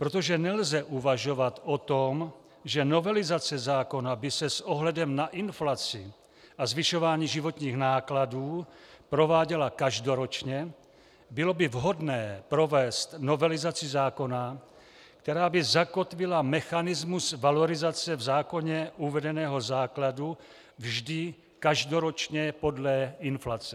Protože nelze uvažovat o tom, že novelizace zákona by se s ohledem na inflaci a zvyšování životních nákladů prováděla každoročně, bylo by vhodné provést novelizaci zákona, která by zakotvila mechanismus valorizace v zákoně uvedeného základu vždy každoročně podle inflace.